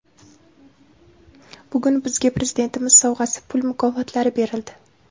Bugun bizga Prezidentimiz sovg‘asi, pul mukofotlari berildi.